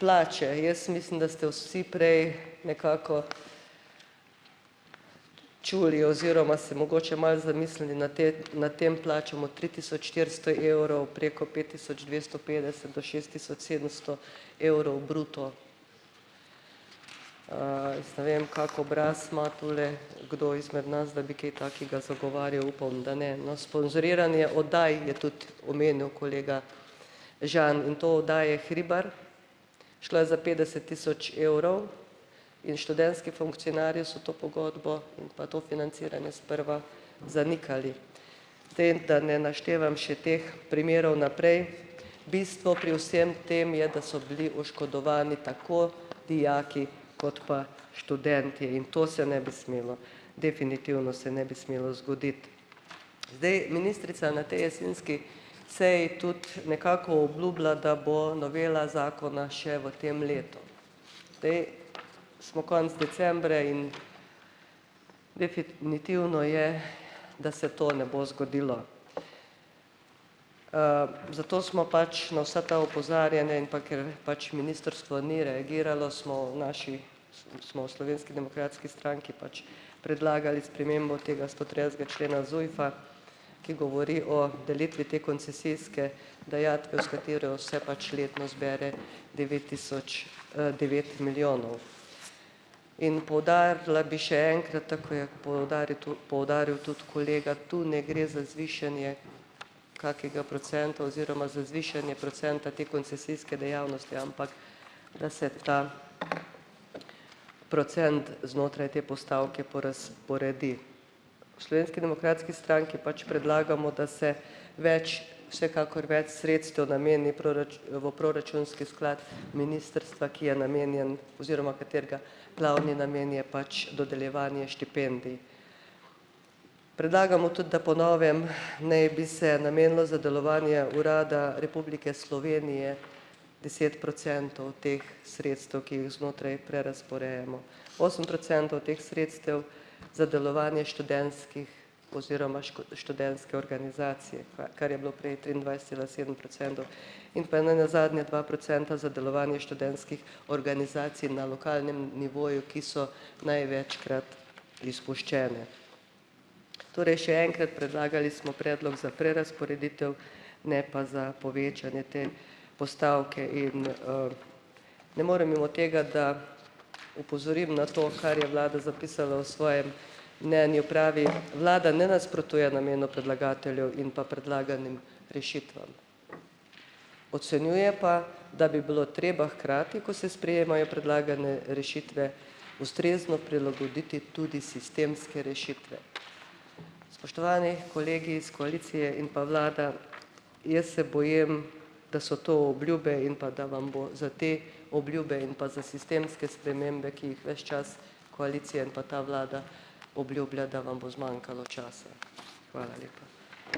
plače, jaz mislim, da ste vsi prej nekako čuli oziroma se mogoče malo zamislili na te nad temi plačami od tri tisoč štiristo evrov, preko pet tisoč dvesto petdeset do šest tisoč sedemsto evrov bruto. jaz ne vem kak obraz ima tule kdo izmed nas, da bi kaj takega zagovarjal, upam, da ne. No, sponzoriranje oddaj je tudi omenil kolega Žan, in to oddaje Hribar, šlo je za petdeset tisoč evrov in študentski funkcionarji so to pogodbo in pa to financiranje sprva zanikali. Da ne naštevam še teh primerov naprej. Bistvo pri vsem tem je, da so bili oškodovani tako dijaki kot pa študentje. In to se ne bi smelo, definitivno se ne bi smelo zgoditi. Zdaj, ministrica na tej jesenski seji tudi nekako obljubila, da bo novela zakona še v tem letu. Zdaj, smo konec decembra in definitivno je, da se to ne bo zgodilo. zato smo pač na vsa ta opozarjanja, in pa ker pač ministrstvo ni reagiralo, smo v naši, smo v Slovenski demokratski stranki pač predlagali spremembo tega stotridesetega člena ZUJF-a, ki govori o delitvi te koncesijske dajatve, u s katero se pač letno zbere devet tisoč, devet milijonov. In poudarila bi še enkrat, te ko je poudaril tudi kolega, tu ne gre za zvišanje kakega procenta oziroma za zvišanje procenta te koncesijske dejavnosti, ampak da se ta procent znotraj te postavke porazporedi. V Slovenski demokratski stranki pač predlagamo, da se več, vsekakor več sredstev nameni v proračunski sklad ministrstva, ki je namenjen oziroma katerega glavni namen je pač dodeljevanje štipendij. Predlagamo tudi, da po novem naj bi se namenilo za delovanje Urada Republike Slovenije deset procentov teh sredstev, ki jih znotraj prerazporejamo. Osem procentov teh sredstev za delovanje študentskih oziroma študentske organizacije, kva kar je bilo prej triindvajset cela sedem procentov, in pa nenazadnje dva procenta za delovanje študentskih organizacij na lokalnem nivoju, ki so največkrat izpuščene. Torej, še enkrat, predlagali smo predlog za prerazporeditev, ne pa za povečanje te postavke. In, ne morem mimo tega, da opozorim na to, kar je vlada zapisala v svojem mnenju, pravi: "Vlada ne nasprotuje namenu predlagatelja in pa predlaganim rešitvam." Ocenjuje pa, da bi bilo treba hkrati, ko se sprejemajo predlagane rešitve, ustrezno prilagoditi tudi sistemske rešitve. Spoštovani kolegi iz koalicije in pa vlada. Jaz se bojim, da so to obljube in pa da vam bo za te obljube in pa za sistemske spremembe, ki jih ves čas koalicija in pa ta vlada obljublja, da vam bo zmanjkalo časa. Hvala lepa.